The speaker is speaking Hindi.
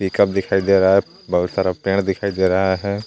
दिखाई दे रहा है बहुत सारा पेड़ दिखाई दे रहा है.